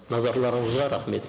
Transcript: назарларыңызға рахмет